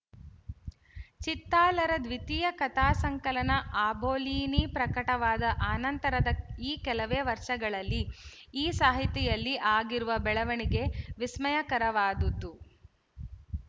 ಚಿತ್ತಾಲರ ದ್ವಿತೀಯ ಕಥಾಸಂಕಲನ ಆಬೋಲೀನಿ ಪ್ರಕಟವಾದ ಅನಂತರದ ಈ ಕೆಲವೇ ವರ್ಷಗಳಲ್ಲಿ ಈ ಸಾಹಿತಿಯಲ್ಲಿ ಆಗಿರುವ ಬೆಳವಣಿಗೆ ವಿಸ್ಮಯಕರವಾದದ್ದು